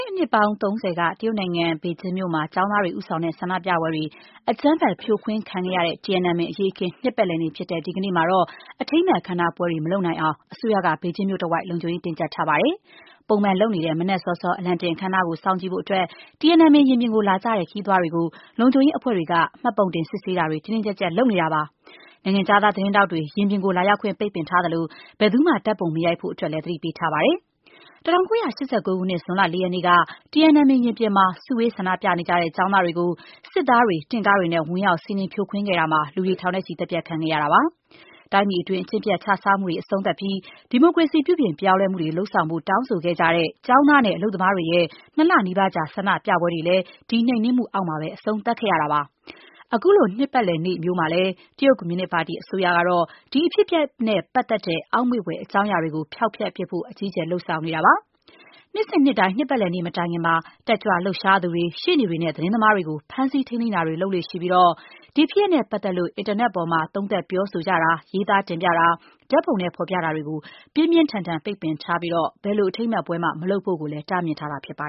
တဲ့နှစ်ပေါင်း ၃ဝ က တရုတ်နိုင်ငံ ဘေဂျင်းမြို့မှာ ကျောင်းသားတွေ ဦးဆောင်တဲ့ ဆန္ဒပြပွဲတွေ အကြမ်းဖက် ဖြိုခွင်းခံခဲ့ရတဲ့ Tiananmen အရေးအခင်း နှစ်ပတ်လည်နေ့ ဖြစ်တဲ့ ဒီကနေ့မှာ အထိမ်းအမှတ် အခမ်းအနားပွဲတွေ မလုပ်နိုင်အောင် အစိုးရက ဘေကျင်းမြို့တဝိုက် လုံခြုံရေး တင်းကျပ်ထားပါတယ်။ ပုံမှန်လုပ်နေတဲ့ မနက်စောစော အလံတင်အခမ်းအနားကို ကြည့်ဖို့အတွက် Tiananmen ရင်ပြင်ကိုလာကြတဲ့ ခရီးသွားတွေကို လုံခြုံရေးအဖွဲ့တွေက မှတ်ပုံတင်တွေ စစ်ဆေးတာတွေ တင်းတင်းကျပ်ကျပ် လုပ်ဆောင်နေတာပါ။ နိုင်ငံခြားသား သတင်းထောက်တွေ ရင်ပြင်ကို လာရောက်ခွင့် ပိတ်ထားသလို ဘယ်သူမှ ဓါတ်ပုံ မရိုက်ဖို့လည်း သတိပေးထားပါတယ်။ ၁၉၈၉ ခုနှစ် ဇွန်လ ၄ ရက်နေ့က Tiananmen ရင်ပြင်မှာ စုဝေးဆန္ဒပြနေကြတဲ့ ကျောင်းသားတွေကို စစ်သားတွေ၊ တင့်ကားတွေနဲ့ ဝင်ရောက် စီးနင်း ဖြိုခွင်းခဲ့တာမှာ လူတွေ ထောင်နဲ့ချီ သတ်ဖြတ်ခံခဲ့ရတာပါ။ တိုင်းပြည်တွင်း အကျင့်ပျက်ခြစားမှုတွေ အဆုံးသတ်ပြီး ဒီမိုကရေစီ ပြုပြင်ပြောင်းလဲမှုတွေ လုပ်ဆောင်ဖို့ တောင်းဆိုခဲ့ကြတဲ့ ကျောင်းသားနဲ့ အလုပ်သမားတွေရဲ့ ၂ လနီးပါးကြာ ဆန္ဒပြပွဲတွေလည်း ဒီနှိမ်နင်းမှုအောက်မှာ အဆုံးသတ်ခဲ့ရပါတယ်။ အခုလို နှစ်ပတ်လည်နေ့မျိုးမှာလည်း တရုတ်ကွန်မြူနစ်ပါတီ အစိုးရကတော့ ဒီအဖြစ်အပျက်နဲ့ ပတ်သက်တဲ့ အောက်မေ့ဘွယ် အကြောင်းအရာတွေကို ဖျောက်ဖျက်ဖို့အတွက် အကြီးအကျယ် လုပ်ဆောင်နေတာပါ။ နှစ်စဉ်နှစ်တိုင်း နှစ်ပတ်လည်နေ့ မတိုင်ခင်မှာ တက်ကြွလှုပ်ရှားသူတွေ၊ ရှေ့နေတွေနဲ့ သတင်းသမားတွေကို ဖမ်းဆီးထိန်းသိမ်းတာတွေ လုပ်လေ့ရှိပြီး ဒီဖြစ်ရပ်နဲ့ပတ်သက်လို့ အင်တာနက်ပေါ်ကနေ သုံးသပ်ပြောဆိုတာ၊ ရေးသားတင်ပြတာ၊ ဓာတ်ပုံနဲ့ ဖော်ပြတာတွေကို ပြင်းပြင်းထန်ထန် ပိတ်ပင်ထားသလို၊ ဘယ်လိုအထိမ်းအမှတ်ပွဲမှ မလုပ်ဖို့လည်း တားမြစ်ထားတာ ဖြစ်ပါ